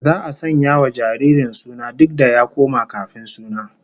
Za'a sanya wa jaririn suna duk da ya koma kafin suna